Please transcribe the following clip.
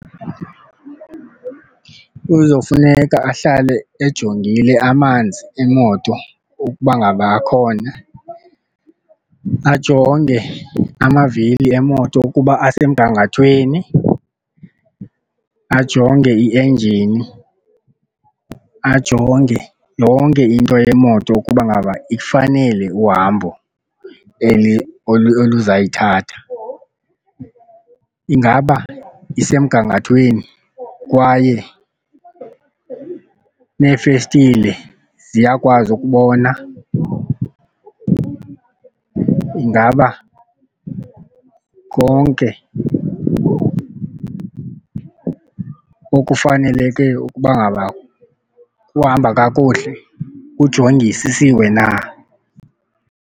Kuzofuneka ahlale ejongile amanzi emoto ukuba ngaba khona, ajonge amavili emoto ukuba asemgangathweni, ajonge i-enjini, ajonge yonke into yemoto ukuba ngaba ifanele uhambo oluzayithatha. Ingaba isemgangathweni kwaye neefestile ziyakwazi ukubona, ingaba konke okufaneleke ukuba ngaba kuhamba kakuhle kujongisisiwe na.